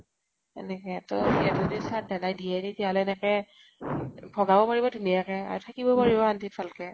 তেনেকে তৌ, সিহঁতে যদি চাত ধালাই দিয়ে, তেতিয়াহলে তেনেকে ভগাব পাৰিব, ধুনিয়াকে । আৰু থাকিবও পাৰিব শান্তি ত ভালকে